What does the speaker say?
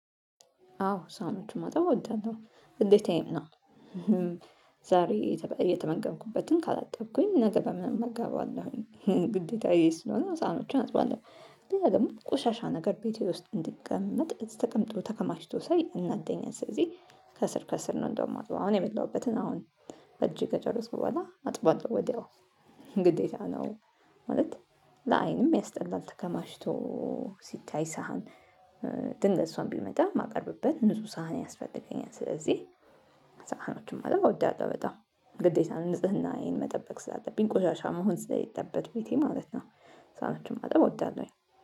አዎ ሳምንቱን ማጠብ እወዳለሁ ግዴታዬ ነው። ዛሬ እየተመገንኩበትን ካላጠብኩኝ ነገ በምን እመገባለሁ? ግዴታዬ ስለሆነ ሳህኖችን አጥባለሁ። ሌላደግሞ ቆሻሻ ነገር ቤቴ ውስጥ እንድቀመጥ ተቀምጦ ተከማችቶ ሳይ ያናደኛል። ስለዚህ ዛሬ እየተመገንኩበትን ካላጠብኩኝ ነገ በምን እመገባለሁ? ግዴታዬ ስለሆነ ሳህኖችን አጥባለሁ ሌላደግሞ ቆሻሻ ነገር ቤቴ ውስጥ እንድቀመጥ ተቀምጦ ተከማችቶ ሳይ ያናደኛል። ስለዚህ ግዴታ ነው። ማለት ለአይንም ያስጠላል። ተከማችቶ ሲታይ። ሳህን ድንገት ሰውም ቢመጣ ማቀርብበት ንጹ ሳህን ያስፈልገኛል። ስለዚህ ሳህኖችን ማጠብ አወዳለሁ። በጣም ግዴታ ንጽህናዬን መጠበቅ ስላለብኝ ቆሻሻ መሆን ስለሌለበት ቤቴ ማለት ነው። ሳኖችን ማጠብ እወዳለሁኝ።